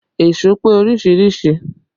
Èṣó pé oríṣiríṣìí